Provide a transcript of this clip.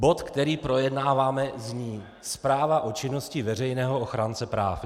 Bod, který projednáváme, zní zpráva o činnosti veřejného ochránce práv.